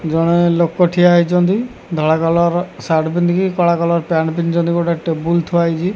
ଜଣେ ଲୋକ ଠିଆ ହେଇଚନ୍ତି ଧଳା କଲର୍ ର ସାର୍ଟ ପିନ୍ଧିକି କଳା କଲର ପ୍ୟାଣ୍ଟ୍ ପିନ୍ଧିଚନ୍ତି ଗୋଟେ ଟେବୁଲ ଥୁଆହେଇଚି।